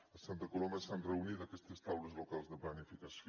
a santa coloma s’han reunit aquestes taules locals de planificació